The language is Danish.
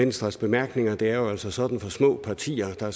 venstres bemærkninger det er jo altså sådan at for små partier